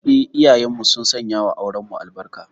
Eh, iyayenmu sun sanyawa aurenmu albarka.